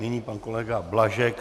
Nyní pan kolega Blažek.